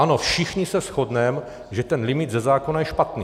Ano, všichni se shodneme, že ten limit ze zákona je špatný.